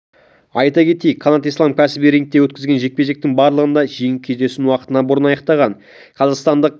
айта кетейік қанат ислам кәсіби рингте өткізген жекпе-жектің барлығын да жеңіп кездесуін уақытынан бұрын аяқтаған қазақстандық